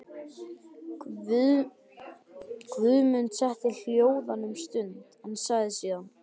Guðmund setti hljóðan um stund en sagði síðan: